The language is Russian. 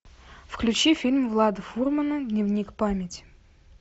включи фильм влада фурмана дневник памяти